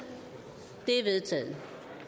det er vedtaget